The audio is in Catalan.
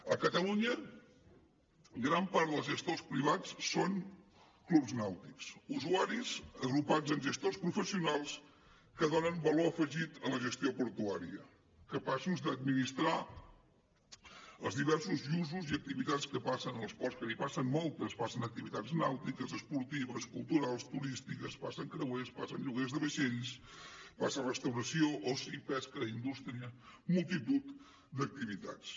a catalunya gran part dels gestors privats són clubs nàutics usuaris agrupats en gestors professionals que donen valor afegit a la gestió portuària capaços d’administrar els diversos usos i activitats que passen als ports que n’hi passen moltes passen activitats nàutiques esportives culturals turístiques passen creuers passen lloguers de vaixells passen restauració oci pesca indústria multitud d’activitats